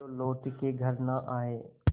जो लौट के घर न आये